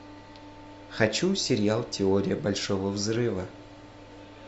хочу сериал теория большого взрыва